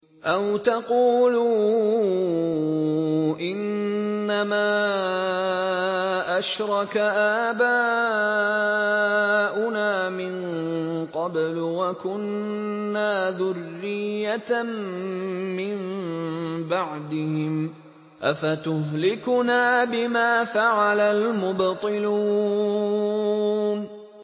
أَوْ تَقُولُوا إِنَّمَا أَشْرَكَ آبَاؤُنَا مِن قَبْلُ وَكُنَّا ذُرِّيَّةً مِّن بَعْدِهِمْ ۖ أَفَتُهْلِكُنَا بِمَا فَعَلَ الْمُبْطِلُونَ